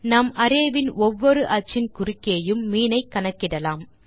நாம் அரே வின் ஒவ்வொரு அச்சின் குறுக்கேயும் மீன் ஐ கணக்கிடலாம்